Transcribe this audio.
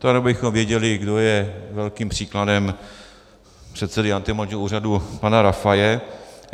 To jenom abychom věděli, kdo je velkým příkladem předsedy antimonopolního úřadu pana Rafaje.